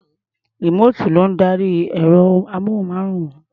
Rìmóòtù ló ń darí ẹ̀rọ-amóhùnmáwòrán.